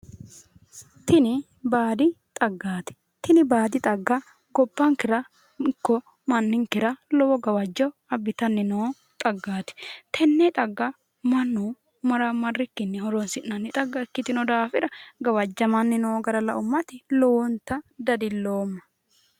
Tini baadi xaggaati tini baadi xagga gobbankera ikko manninkera lowo gawajjo abbitanni noo xaggaati tenne xagga mannu maramarrikkinni horonsi'nanni xagga ikkitino daafira gawajjamanni noo gara la'ummati lowonta dadilloomma